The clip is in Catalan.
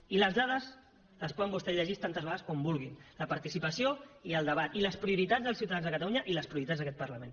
i les dades les poden vostès llegir tantes vegades com vulguin la participació i el debat i les prioritats dels ciutadans de catalunya i les prioritats d’aquest parlament